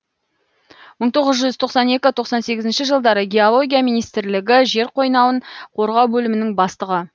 мың тоғыз жүз тоқсан екі тоқсан сегізінші жылдары геология министрлігі жер қойнауын қорғау бөлімінің бастығы